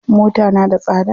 Mota na da tsada.